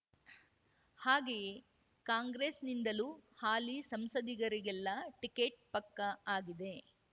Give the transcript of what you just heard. ಹಾಗೆಯೇ ಕಾಂಗ್ರೆಸ್‌ನಿಂದಲೂ ಹಾಲಿ ಸಂಸದರಿಗೆಲ್ಲರಿಗೂ ಟಿಕೆಟ್ ಪಕ್ಕಾ ಆಗಿವೆ